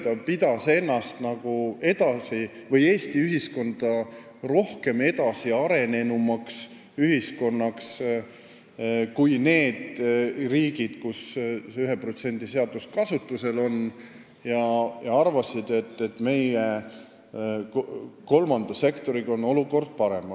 Ta pidas nagu Eesti ühiskonda edasiarenenumaks nende riikide ühiskondadest, kus see 1% seadus kasutusel oli, ja arvas, et meie kolmanda sektori olukord on parem.